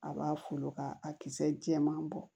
A b'a folo k'a kisɛ jɛman bɔ